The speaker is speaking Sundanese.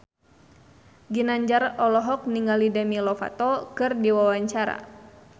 Ginanjar olohok ningali Demi Lovato keur diwawancara